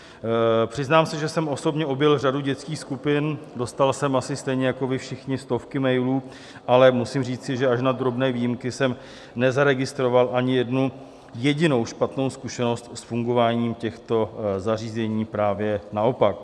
Přiznám se, že jsem osobně objel řadu dětských skupin, dostal jsem asi stejně jako vy všichni stovky mailů, ale musím říci, že až na drobné výjimky jsem nezaregistroval ani jednu jedinou špatnou zkušenost s fungováním těchto zařízení, právě naopak.